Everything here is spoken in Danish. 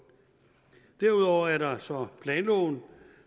derudover er der så planloven